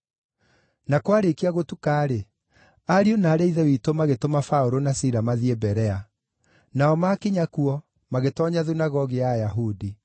Na kwarĩĩkia gũtuka-rĩ, ariũ na aarĩ a Ithe witũ magĩtũma Paũlũ na Sila mathiĩ Berea. Nao maakinya kuo, magĩtoonya thunagogi ya Ayahudi.